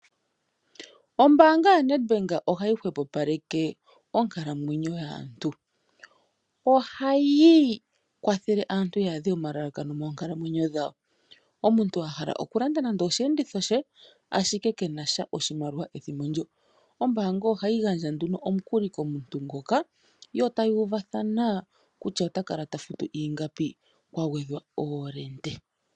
Ombaanga yoNedbank ohayi hwepopaleke oonkalamwenyo dhaantu. Ohayi kwathele aantu yaadhe omalalakano moonkalamwenyo dhawo. Omuntu a hala okulanda osheenditho she ihe kenasha oshimaliwa ethimbo ndyo oombaanga ohayi gandja omukuli komuntu nguka yo tayuuvathana kutya ota kala tafutu ingapi kwagwedhwa oolente.